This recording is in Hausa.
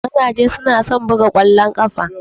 Mazaje su na son buga kwallon kafa.